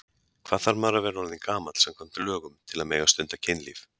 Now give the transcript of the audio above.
Hvað þarf maður að vera orðinn gamall samkvæmt lögum til að mega stunda kynlíf?